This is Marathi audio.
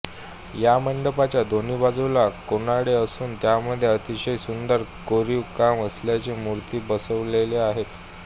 या मंडपाच्या दोन्ही बाजूला कोनाडे असून त्यामध्ये अतिशय सुंदर कोरीव काम असलेल्या मूर्ती बसविलेल्या आहेत